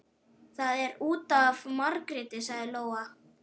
Það er út af Margréti, sagði Lóa.